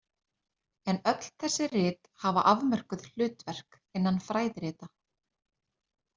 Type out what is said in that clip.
En öll þessi rit hafa afmörkuð hlutverk innan flæðirita.